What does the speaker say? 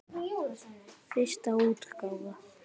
Fyrsta útgáfa.